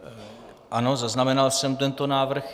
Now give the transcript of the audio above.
Ano, zaznamenal jsem tento návrh.